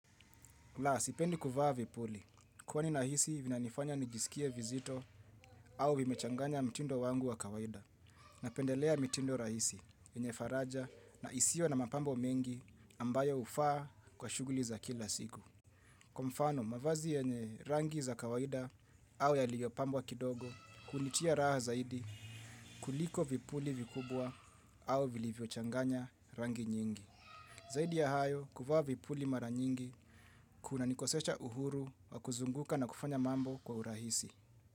Laa, sipendi kuvaa vipuli, kwani nahisi vinanifanya nijisikie vizito au vimechanganya mtindo wangu wa kawaida, napendelea mitindo rahisi, yenye faraja, na isio na mapambo mengi ambayo hufaa kwa shuguli za kila siku. Kwa mfano, mavazi yenye rangi za kawaida au yaliyopambwa kidogo, hunitia raha zaidi kuliko vipuli vikubwa au vilivyochanganya rangi nyingi. Zaidi ya hayo kuvaa vipuli mara nyingi, kuna nikosesha uhuru wa kuzunguka na kufanya mambo kwa urahisi.